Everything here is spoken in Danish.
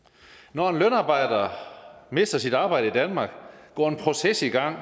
når en lønarbejder mister sit arbejde i danmark går en proces i gang